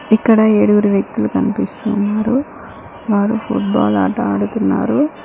ఇక్కడ ఏడుగురు వ్యక్తులు కనిపిస్తున్నారు వారు ఫుట్బాల్ ఆట ఆడుతున్నారు.